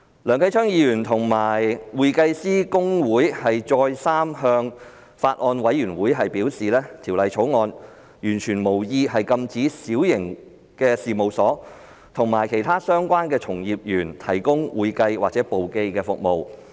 梁繼昌議員和公會再三向法案委員會表示，《條例草案》完全無意禁止小型事務所及其他相關從業員提供會計或簿記服務。